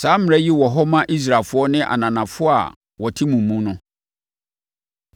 Saa mmara yi wɔ hɔ ma Israelfoɔ ne ananafoɔ a wɔte mu mu no.